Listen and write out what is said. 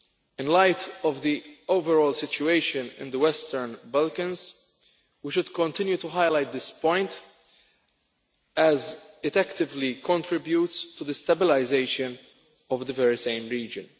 In light of the overall situation in the Western Balkans, we should continue to highlight this point, as it actively contributes to the stabilisation of the very same region.